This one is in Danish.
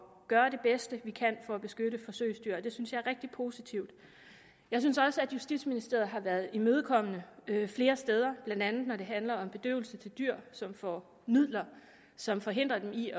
gøre det bedste vi kan for at beskytte forsøgsdyr og det synes jeg er rigtig positivt jeg synes også at justitsministeriet har været imødekommende flere steder blandt andet når det handler om bedøvelse til dyr som får midler som forhindrer dem i